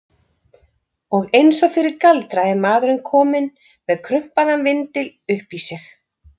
Og eins og fyrir galdra er maðurinn kominn með krumpaðan vindil upp í sig.